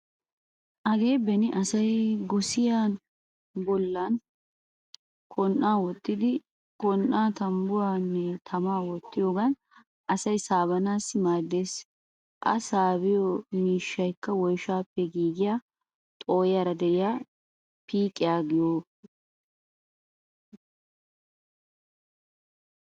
Hagee beni asay gosiyaa bollan Kon"aa wottidi he Kon"an tambbuwaanne tamaa wottiyogan asay saabanaassi maaddeees.A saabiyo miishaykka woyshshaappe giigiya xoo'iyaara de:iyaa piiqiya giyo mttaana.